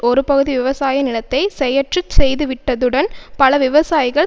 ஒரு பகுதி விவசாய நிலத்தை செயற்றுச் செய்துவிட்டதுடன் பல விவசாயிகள்